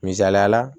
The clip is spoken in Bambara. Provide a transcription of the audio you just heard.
Misaliyala